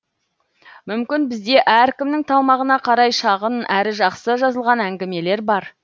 мүмкін бізде әркімнің талмағына қарай шағын әрі жақсы жазылған әңгімелер бар